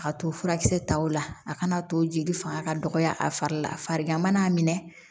A ka to furakisɛ taw la a kana to jeli fanga ka dɔgɔya a fari la farigan mana minɛ